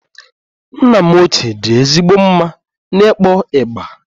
Nna m ochie dị ezigbo mma n'ịkpọ igba